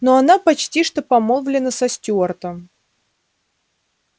но она почти что помолвлена со стюартом